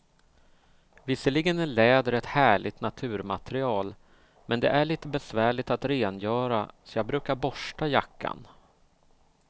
Visserligen är läder ett härligt naturmaterial, men det är lite besvärligt att rengöra, så jag brukar borsta jackan.